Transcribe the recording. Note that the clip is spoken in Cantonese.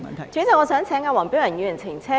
代理主席，我想請黃碧雲議員澄清。